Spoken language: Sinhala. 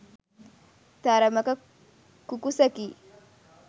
තරමක කුකුසකි.